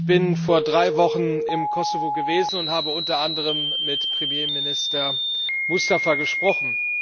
Ich bin vor drei Wochen im Kosovo gewesen und habe unter anderem mit Premierminister Mustafa gesprochen.